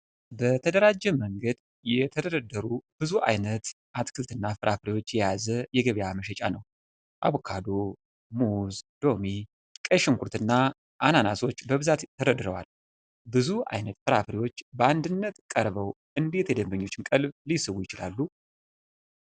በተደራጀ መንገድ የተደረደሩ ብዙ አይነት አትክልትና ፍራፍሬዎችን የያዘ የገበያ መሸጫ ነው። አቮካዶ፣ ሙዝ፣ ሎሚ፣ ቀይ ሽንኩርትና አናናሶች በብዛት ተደርድረዋል። ብዙ አይነት ፍራፍሬዎች በአንድነት ቀርበው እንዴት የደንበኞችን ቀልብ ሊስቡ ይችላሉ?